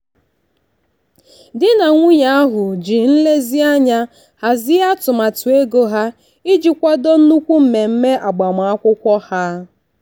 di na nwunye ahụ ji nlezianya hazie atụmatụ ego ha iji kwado nnukwu mmemme agbamakwụkwọ ha.